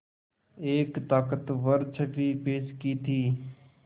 एक ताक़तवर छवि पेश की थी